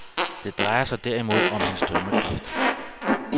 Det drejer sig derimod om hans dømmekraft.